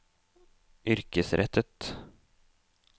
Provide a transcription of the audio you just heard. yrkesrettet